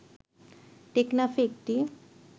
টেকনাফে একটি